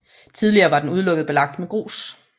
Tidligere var den udelukkende belagt med grus